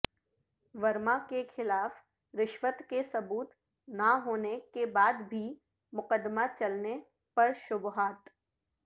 ورما کے خلاف رشوت کے ثبوت نہ ہونے کے بعد بھی مقدمہ چلنے پر شبہات